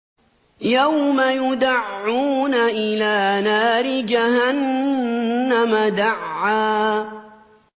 يَوْمَ يُدَعُّونَ إِلَىٰ نَارِ جَهَنَّمَ دَعًّا